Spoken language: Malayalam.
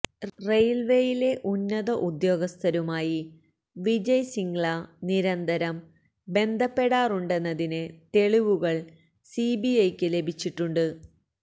റെയില്വെയിലെ ഉന്നത ഉദ്യോഗസ്ഥരുമായി വിജയ് സിംഗ്ല നിരന്തരം ബന്ധപ്പെടാറുണ്ടെന്നതിന് തെളിവവുകള് സിബിഐയ്ക്ക് ലഭിച്ചിട്ടുണ്ട്